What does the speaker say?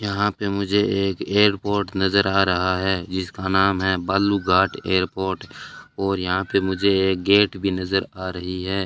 यहां पे मुझे एक एयरपोर्ट नजर आ रहा है जिसका नाम है बालू घाट एयरपोर्ट और यहां पे मुझे गेट भी नजर आ रही है।